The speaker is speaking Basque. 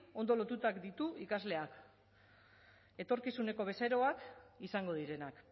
ondo lotuta ditu ikasleak etorkizuneko bezeroak izango direnak